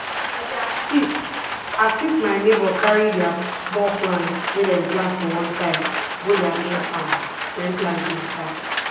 i dey assist assist my neighbor carry their small plants wey dem plant for one side go their main farm wen planting start